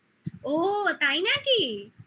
ও তাই নাকি?